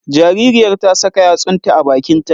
Jaririyar ta saka yatsunta a bakin ta